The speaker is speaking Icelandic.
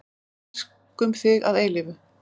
Elskum þig að eilífu.